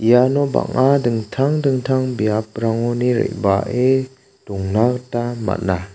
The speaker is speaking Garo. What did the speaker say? iano bang·a dingtang dingtang biaprangoni re·bae dongna gita man·a.